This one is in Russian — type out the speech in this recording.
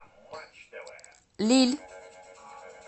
лилль